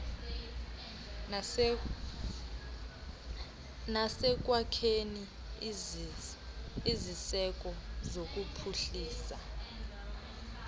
nasekwakheni iziseko zokuphuhlisa